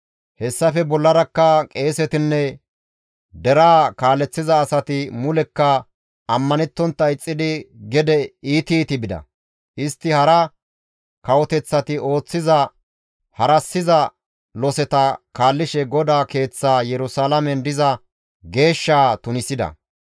Hessafe bollarakka qeesetinne deraa kaaleththiza asati mulekka ammanettontta ixxidi gede iiti iiti bida; istti hara kawoteththati ooththiza harassiza loseta kaallishe GODAA Keeththaa Yerusalaamen diza geeshshaa tunisida.